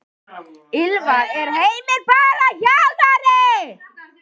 Ylfa: Er Heimir bara þjálfari?